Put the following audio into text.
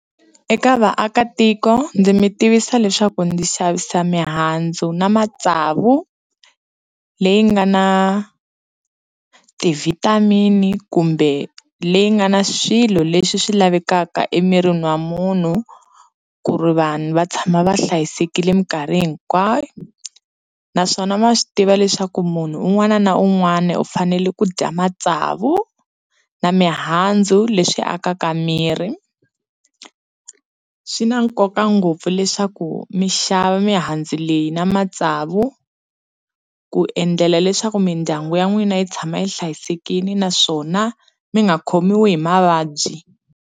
Eka vaakatiko ndzi mi tivisa leswaku ndzi xavisa mihandzu na matsavu leyi nga na ti-vitamin-i kumbe leyi nga na swilo leswi swi lavekaka emirini wa munhu ku ri vanhu va tshama va hlayisekile minkarhi hinkwayo naswona ma swi tiva leswaku munhu un'wana na un'wana u fanele ku dya matsavu na mihandzu leswi akaka miri swi na nkoka ngopfu leswaku mixava mihandzu leyi na matsavu ku endlela leswaku mindyangu ya n'wina yi tshama yi hlayisekile naswona mi nga khomiwi hi mavabyi.